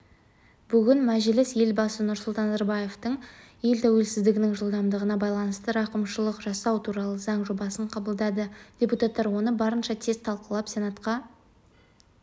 бүгін мәжіліс елбасы нұрсұлтан назарбаевтың ел тәуелсіздігінің жылдығына байланысты рақымшылық жасау туралы заң жобасын қабылдады депутаттар оны барынша тез талқылап сенатқа